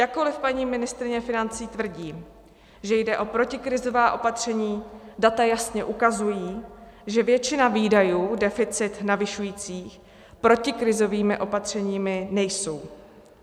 Jakkoliv paní ministryně financí tvrdí, že jde o protikrizová opatření, data jasně ukazují, že většina výdajů deficit navyšujících protikrizovými opatřeními nejsou.